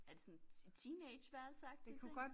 Er det sådan et teenageværelse agtig ting